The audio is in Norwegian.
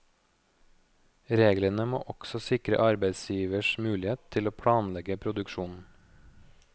Reglene må også sikre arbeidsgivers mulighet til å planlegge produksjonen.